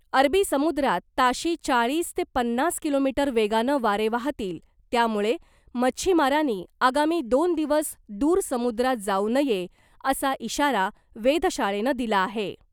अरबी समुद्रात ताशी चाळीस ते पन्नास किलोमीटर वेगानं वारे वाहतील त्यामुळे मच्छीमारांनी आगामी दोन दिवस दूर समुद्रात जाऊ नये , असा इशारा वेधशाळेनं दिला आहे .